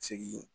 Segin